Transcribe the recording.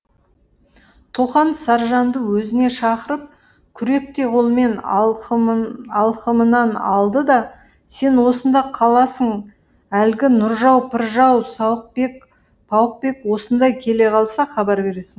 тоқан саржанды өзіне шақырып күректей қолымен алқымынан алды да сен осында қаласың әлгі нұржау пыржау сауықбек пауықбек осында келе қалса хабар бересің